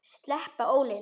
Sleppa ólinni.